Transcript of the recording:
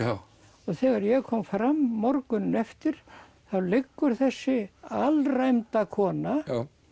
og þegar ég kom fram morguninn eftir þá liggur þessi alræmda kona